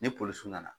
Ni polisiw nana